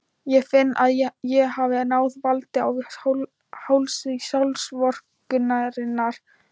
Ég finn að ég hef náð valdi á hálsi sjálfsvorkunnarinnar.